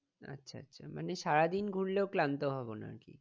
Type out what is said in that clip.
আচ্ছা আচ্ছা মানে সারাদিন ঘুরলেও ক্লান্ত হবো না আর কি।